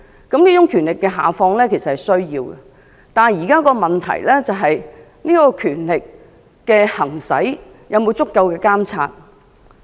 教育局下放權力是需要的，但現在的問題是，有關權力的行使有否足夠的監察？